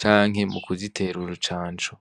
canke mu kuzitera urucancu.